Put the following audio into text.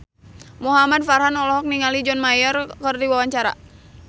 Muhamad Farhan olohok ningali John Mayer keur diwawancara